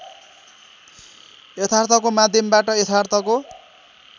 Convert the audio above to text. यथार्थको माध्यमबाट यथार्थको